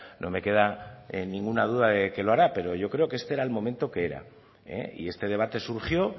no me queda ninguna duda de que lo hará pero yo creo que este era el momento que era y este debate surgió